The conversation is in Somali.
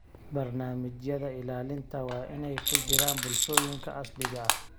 Barnaamijyada ilaalinta waa inay ku jiraan bulshooyinka asaliga ah.